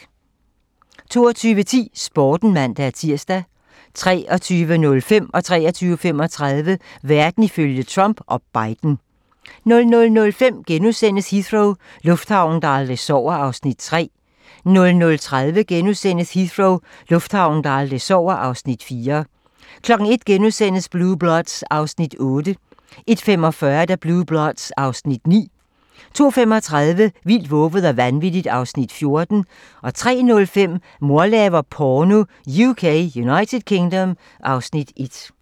22:10: Sporten (man-tir) 23:05: Verden ifølge Trump - og Biden 23:35: Verden ifølge Trump - og Biden 00:05: Heathrow - lufthavnen, der aldrig sover (Afs. 3)* 00:30: Heathrow - lufthavnen, der aldrig sover (Afs. 4)* 01:00: Blue Bloods (Afs. 8)* 01:45: Blue Bloods (Afs. 9) 02:35: Vildt, vovet og vanvittigt (Afs. 14) 03:05: Mor laver porno (UK) (Afs. 1)